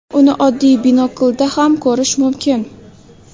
Uni oddiy binoklda ham ko‘rish mumkin.